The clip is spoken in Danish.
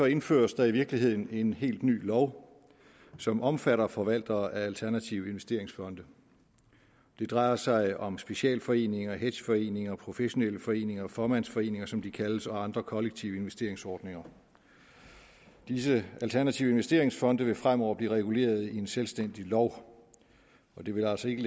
indføres der i virkeligheden en helt ny lov som omfatter forvaltere af alternative investeringsfonde det drejer sig om specialforeninger hedgeforeninger professionelle foreninger fåmandsforeninger som de kaldes og andre kollektive investeringsordninger disse alternative investeringsfonde vil fremover blive reguleret i en selvstændig lov de vil altså ikke